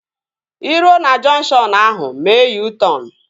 Ị ruo na junkshọnu ahu, mee U-tọn